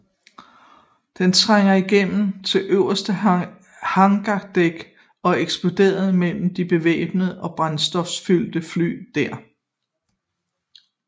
Den trængte igennem til øverste hangardæk og eksploderede mellem de bevæbnede og brændstoffyldte fly der